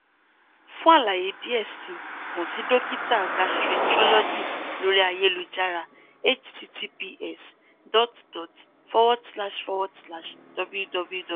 fun alaye diẹ sii kan si dokita gastroenterologist lori ayelujara https dot dot forward slash forward slash www